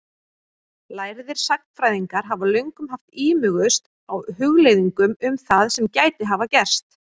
Lærðir sagnfræðingar hafa löngum haft ímugust á hugleiðingum um það sem gæti hafa gerst.